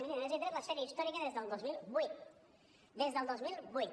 miri a més li he tret la sèrie històrica des del dos mil vuit des del dos mil vuit